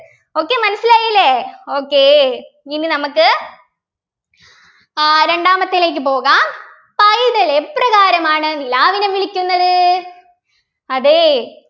okay മനസ്സിലായില്ലേ okay ഇനി നമുക്ക് ആഹ് രണ്ടാമത്തേലേക്ക് പോകാം പൈതൽ എപ്രകാരമാണ് നിലാവിനെ വിളിക്കുന്നത് അതേയ്